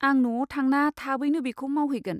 आं न'आव थांना थाबैनो बेखौ मावहैगोन।